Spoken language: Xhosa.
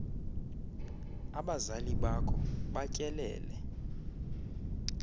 abazali bakho batyelele